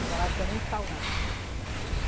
A água lá disse que é muito salgada.